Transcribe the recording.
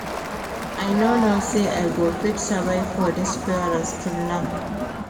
I no know say I go fit survive for dis forest till now